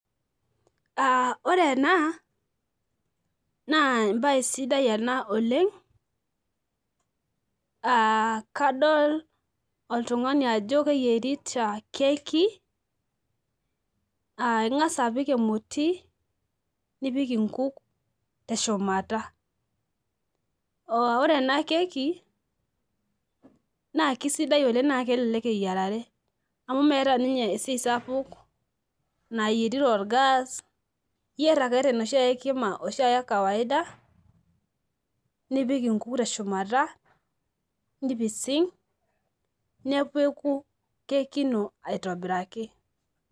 Aa ore ena na embae sidai ena oleng aa kadol oltungani ajo keyierita keki ingasa apik emoti nipik nkuk teshumata ore ena keeki na kisidai oleng na kelelek eyiarare amu meeta ninye esiai sapuk nayieri torgas iyier ake tenoshikima ekawaida nipik nkuk teshumata nipising nepeku keki ino aitobirakii.